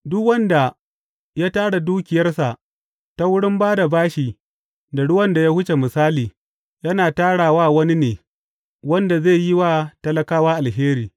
Duk wanda ya tara dukiyarsa ta wurin ba da bashi da ruwan da ya wuce misali yana tara wa wani ne wanda zai yi wa talakawa alheri.